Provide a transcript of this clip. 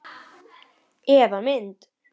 Eða mynd.